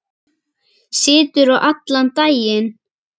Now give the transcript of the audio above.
Siturðu allan daginn?